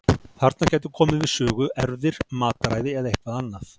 Þarna gætu komið við sögu erfðir, mataræði eða eitthvað annað.